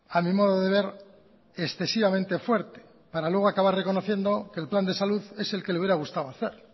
a mi modo de ver excesivamente fuerte para luego acabar reconociendo que el plan de salud es el que le hubiera gustado hacer